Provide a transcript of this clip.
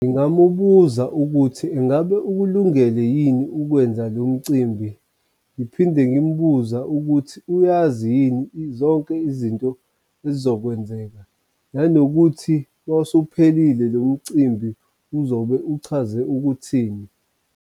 Ngingamubuza ukuthi ingabe ukulungele yini ukwenza lo mcimbi ngiphinde ngimbuze ukuthi uyazi yini zonke izinto ezizokwenzeka nanokuthi wawusuphelile lo mcimbi uzobe uchaze ukuthini.